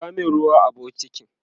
zuba min ruwa a bukitin!